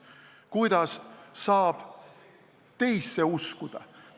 Kuidas saab teisse uskuda?